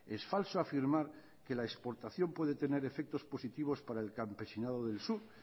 es falso afirmar que la exportación puede tener efectos positivos para el campesinado del sur